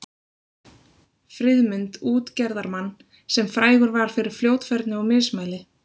Friðmund útgerðarmann, sem frægur var fyrir fljótfærni og mismæli.